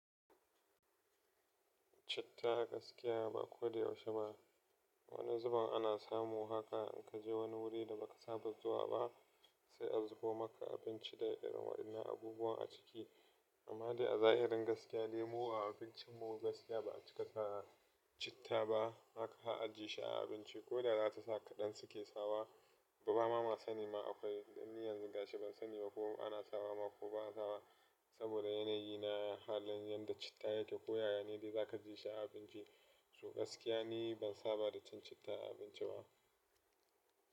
Citta a gaskiya ba ko da yaushe ba. Wani zuben ana samu haka in ka je wani wuri da ba ka saba zuwa ba sai a zubo maka abinci da irin waɗannan abubuwan a ciki. Amma dai a zahirin gaskiya lemu a abincinmu gaskiya ba a cika sa citta ba. Haka a ajiye shi a abinci ko da za ta saka ɗan sake sawa ba mama sani ma akwai. Dan ni yanzu gashi ban sani ba ko ana sawa ma ko ba ana sawa. Saboda yanayi na halin yadda citta yake koyo ya ne dai za ka ji shi a abinci. To gaskiya ni ban saba da cin citta a abinci ba.